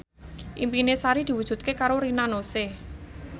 impine Sari diwujudke karo Rina Nose